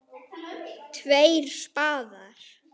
Tveir spaðar